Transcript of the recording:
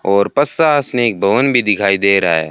और पशासनिक भवन भी दिखाई दे रहा है।